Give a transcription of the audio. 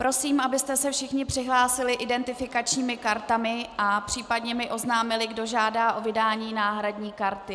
Prosím, abyste se všichni přihlásili identifikačními kartami a případně mi oznámili, kdo žádá o vydání náhradní karty.